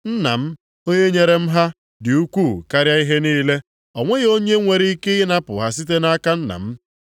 Nna m onye nyere m ha dị ukwuu karịa ihe niile. O nweghị onye nwere ike ịnapụ ha site nʼaka Nna m.